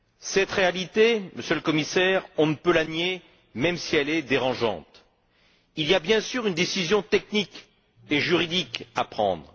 Cette réalité, Monsieur le Commissaire, on ne peut la nier même si elle est dérangeante. Il y a bien sûr une décision technique et juridique à prendre.